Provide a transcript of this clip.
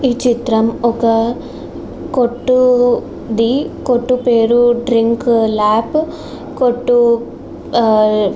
ఈ చిత్రం ఒక కొట్టుది ఆ కొట్టు పేరు డ్రింక్ ల్యాబ్ కొట్టు ఆ --